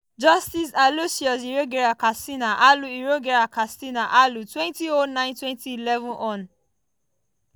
justice aloysius iyorgyer katsina-alu iyorgyer katsina-alu - 2009–2011 hon.